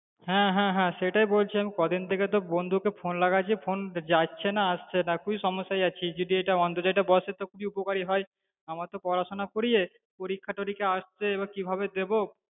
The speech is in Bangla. হ্যাঁ হ্যাঁ হ্যাঁ সেটাই বলছিলাম কদিন থেকে তো বন্ধু কে phone লাগাচ্ছি phone যাচ্ছেনা আসছেনা খুবই সমস্যায় আছি যদি এইটা অন্তর্জালটা বসে তো খুবই উপকার হয় আমার তো পড়াশুনো করিয়ে পরীক্ষা তরীক্ষা আসছে এইবার কিভাবে দেব